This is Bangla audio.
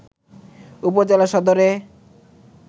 উপজেলা সদরে